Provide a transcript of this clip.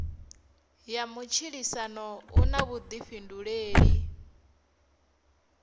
ya matshilisano u na vhuḓifhinduleli